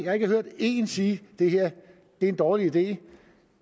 har ikke hørt én sige at det her er en dårlig idé